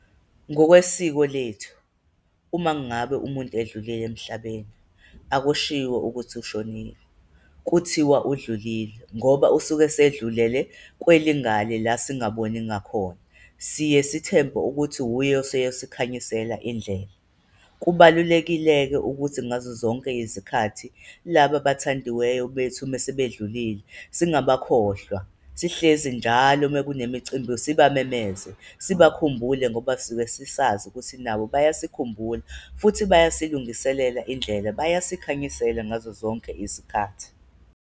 Ngokwesiko lethu uma ngabe umuntu edlule emhlabeni, akushiwo ukuthi ushonile, kuthiwa udlulile ngoba usuke sedlulele kwelingale la singaboni ngakhona, siye sithembe ukuthi wuye oseyosikhanyisela indlela. Kubalulekile-ke ukuthi ngazozonke izikhathi laba abathandiweyo bethu mese bedlulile, singabakhohlwa sihlezi njalo me kunemicimbi, siba memeze sibakhumbule ngoba sibesisazi ukuthi nabo bayasikhumbula futhi bayasilungiselela indlela, bayasikhanyisela ngazozonke izikhathi.